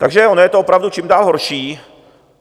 Takže ono je to opravdu čím dál horší.